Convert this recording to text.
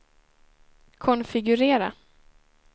konfigurera